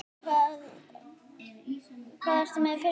Karen: Og með fyrstu einkunn?